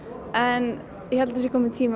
en ég held að það sé kominn tími